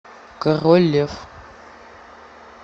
король лев